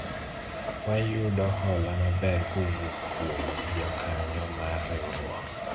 wayudo hola maber kowuok kuom jokanyo mar riwruok